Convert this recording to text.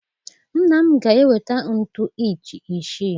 Nna m ga-eweta ntu inchi isii.